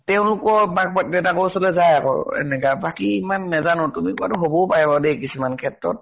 তেওঁলোকৰ বাক দেউতাকৰ ওচৰলৈ যায় আকৌ। এনেকে বাকী ইমান নাজানো। তুমি কোৱাতো হবও পাৰে বাৰু দে কিছুমান ক্ষেত্ৰত।